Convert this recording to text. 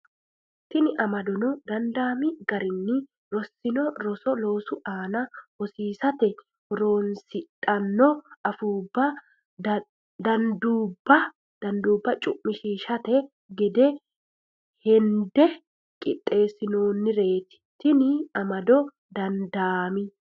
Tini amadono dandaami garinni rossino roso loosu aana hosi- isate horoonsidhanno afuu danduubba cu’mishiishshanno gede hende qiixxeessinoonnireeti Tini amadono dandaami.